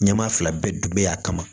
Ɲɛmaa fila bɛɛ dun be yan a kama